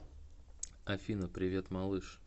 афина привет малыш